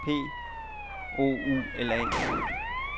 P O U L A